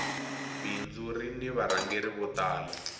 bindzu rini varhangeri vo tala